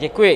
Děkuji.